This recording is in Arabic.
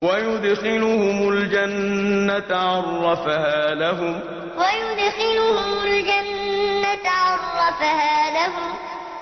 وَيُدْخِلُهُمُ الْجَنَّةَ عَرَّفَهَا لَهُمْ وَيُدْخِلُهُمُ الْجَنَّةَ عَرَّفَهَا لَهُمْ